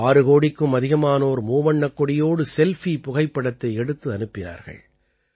6 கோடிக்கும் அதிகமானோர் மூவண்ணக்கொடியோடு செல்ஃபி புகைப்படத்தை எடுத்து அனுப்பினார்கள்